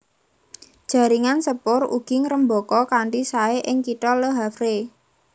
Jaringan sepur ugi ngrembaka kanthi saé ing kitha Le Havre